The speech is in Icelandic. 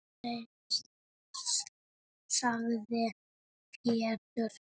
sagði Pétur.